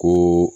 Ko